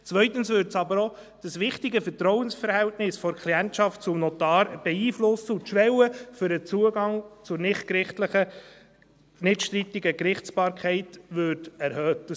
Andererseits würde es aber auch das wichtige Vertrauensverhältnis der Klientschaft zum Notar beeinflussen, und die Schwelle für den Zugang zur nichtstrittigen Gerichtsbarkeit würde erhöht.